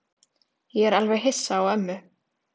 Ég er alveg hissa á ömmu.